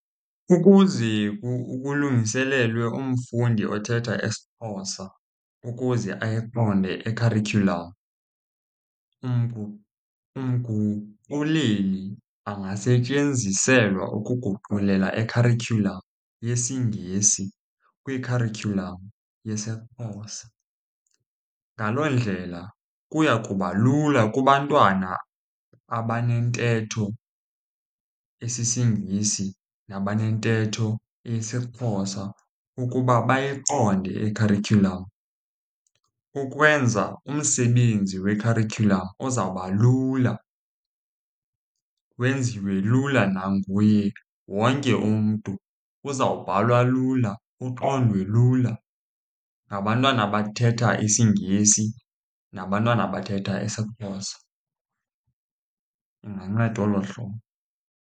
Ukuze kulungiselelwe umfundi othetha isiXhosa ukuze ayiqonde ikharityhulam, umguquleli angasetyenziselwa ukuguqulela ikharityhulam yesiNgesi kwikharityhulam yesiXhosa. Ngaloo ndlela kuya kuba lula kubantwana abanentetho esisiNgesi nabanentetho yesiXhosa ukuba bayiqonde ikharityhulam ukwenza umsebenzi wekharityhulam ozawuba lula. Wenziwe lula nanguye wonke umntu. Uzawubhalwa lula, uqondwe lula ngabantwana abathetha isiNgesi nabantwana abathetha isiXhosa. Inganceda olo hlobo.